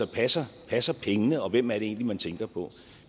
passer passer pengene og hvem er det egentlig man tænker på